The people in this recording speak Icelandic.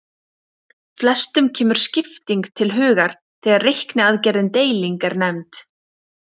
Flestum kemur skipting til hugar þegar reikniaðgerðin deiling er nefnd.